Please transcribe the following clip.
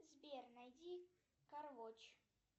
сбер найди кароч